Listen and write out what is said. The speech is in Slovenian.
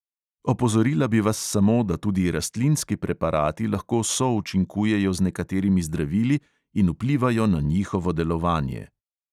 Opozorila bi vas samo, da tudi rastlinski preparati lahko součinkujejo z nekaterimi zdravili in vplivajo na njihovo delovanje.